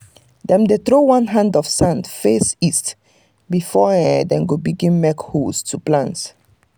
dem dey throw one hand of sand face east before um them begin make holes to plant.